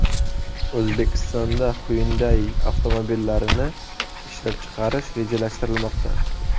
O‘zbekistonda Hyundai avtomobillarini ishlab chiqarish rejalashtirilmoqda.